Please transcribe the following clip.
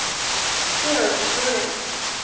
Georg Lorentsen